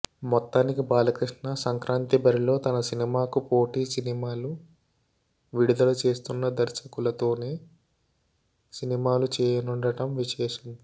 మొత్తానికి బాలకృష్ణ సంక్రాతి బరిలో తన సినిమాకు పోటీ సినిమాలు విడుదల చేస్తున్న దర్శకులతోనే సినిమాలు చేయనుండటం విశేషం